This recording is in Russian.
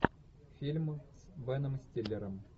фильм с беном стиллером